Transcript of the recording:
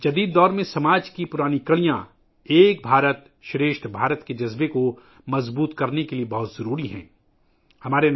جدید دور میں، 'ایک بھارت شریشٹھ بھارت ' کے جذبے کو مضبوط کرنے کے لئے سماج کے یہ پرانے روابط بہت اہم ہیں